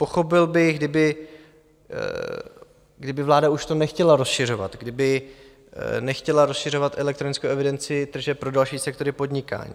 Pochopil bych, kdyby vláda už to nechtěla rozšiřovat, kdyby nechtěla rozšiřovat elektronickou evidenci tržeb pro další sektory podnikání.